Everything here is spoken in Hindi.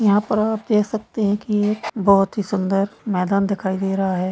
यहां पर आप देख सकते है की बहुत ही सुन्दर मैदान दिखाई दे रहा है।